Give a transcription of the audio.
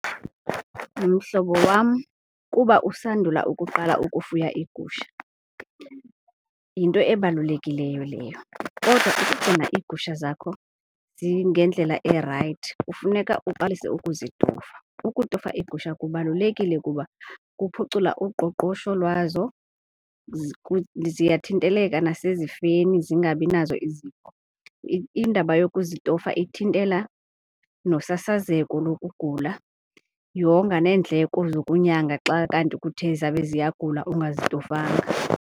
Mhlobo wam, kuba usandula ukuqala ukufuya iigusha yinto ebalulekileyo leyo, kodwa ukugcina iigusha zakho zingendlela erayithi kufuneka uqalise ukuzitofa. Ukutofa iigusha kubalulekile kuba kuphucula uqoqosho lwazo, ziyathinteleka nasezifeni, zingabi nazo izifo. Indaba yokuzitofa ithintela nosasazeko lokugula, yonga neendleko zokunyanga xa kanti kuthe zabe ziyagula ungazitofanga.